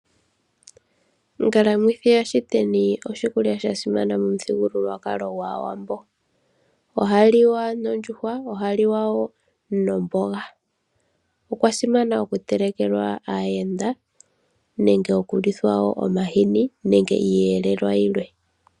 Onkalamwithi yashiteni oshikulya sha simana momuthigululwakalo gwAawambo. Ohaliwa nondjuhwa noshowo omboga, oya simanekwa okutelekela aayenda. Ohayi liwa wo nomahini nenge iiyelelwa yilwe.